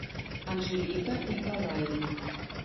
анжелика николаевна